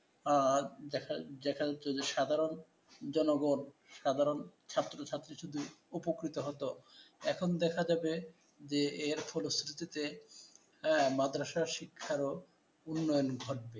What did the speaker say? আহ দেখা দেখা যাচ্ছে যে সাধারণ জনগণ, সাধারণ ছাত্রছাত্রী শুধু উপকৃত হত। এখন দেখা যাবে যে, এর ফলশ্রুতিতে হ্যাঁ, মাদরাসারও শিক্ষার উন্নয়ন ঘটে